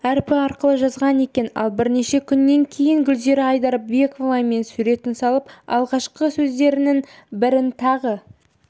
әрпі арқылы жазған екен ал бірнеше күннен кейін гүлзира айдарбековамен суретін салып алғашқы сөздерінің бірінтағы